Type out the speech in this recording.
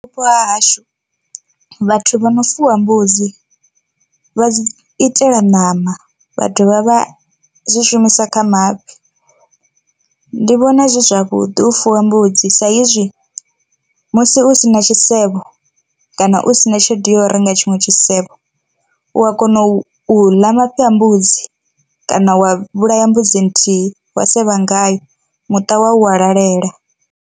Vhupo ha hashu, vhathu vho no fuwa mbudzi vha dzi itela ṋama vha dovha vha zwi shumisa kha mafhi, ndi vhona zwi zwavhuḓi u fuwa mbudzi sa izwi musi u si na tshisevho kana u sina tshelede ya u renga tshiṅwe tshisevho u a kona u ḽa mafhi a mbudzi kana wa vhulaya mbudzi nthihi wa sevha ngayo muṱa wa wa lalela.